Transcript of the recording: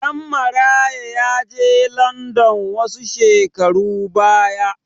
Ɗanmaraya ya je landan wasu shekaru baya.